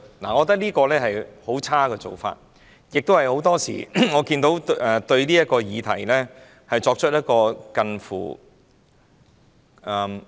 我認為這是很差的做法，亦是很多時候，我看見對這議題作出近乎......